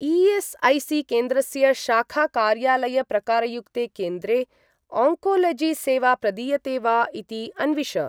ई.एस्.ऐ.सी.केन्द्रस्य शाखा कार्यालय प्रकारयुक्ते केन्द्रे आङ्कोलोजी सेवा प्रदीयते वा इति अन्विष।